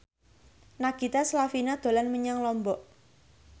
Nagita Slavina dolan menyang Lombok